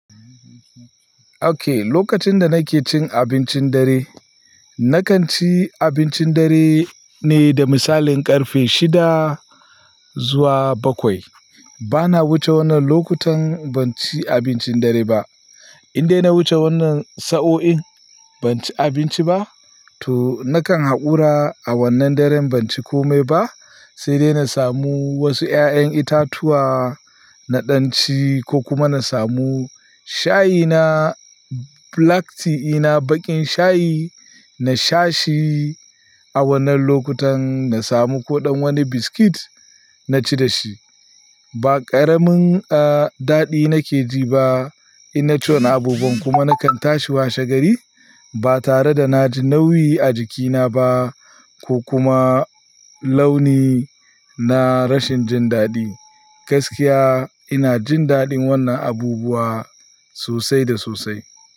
Okay, lokacin da nake cin abincin dare, na kan ci abincin dare ne da misalin ƙarfe shida zuwa bakwai. Bana wuce wannan lokutan ban ci abincin dare ba. In dai na wuce wannan sa'o'in ban ci abinci ba, to na kan haƙura a wannan daren ban ci komai ba, sai dai na samu wasu ƴaƴan itatuwa na ɗan ci ko kuma na samu shayi na black tea ina baƙin shayi, na sha shi a wannan lokutan. Na samu koɗan wani biskit na ci da shi. Ba ƙaramin, ah, daɗi nake ji ba ina ci wannan abubuwan kuma na kan tashi washe gari ba tare da na ji nauyi a jikina ba ko kuma launi na rashin jin daɗi. Gaskiya ina jin daɗin wannan abubuwa sosai da sosai.